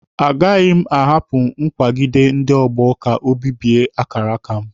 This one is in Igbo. A gaghị m ahapụ nkwagide ndị ọgbọ ka o bibie akara aka m.